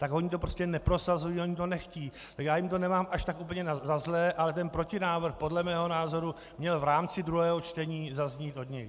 Tak oni to prostě neprosazují, oni to nechtějí a já jim to nemám až tak úplně za zlé, ale ten protinávrh podle mého názoru měl v rámci druhého čtení zaznít od nich.